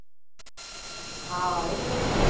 હા આયો તો ને ફોન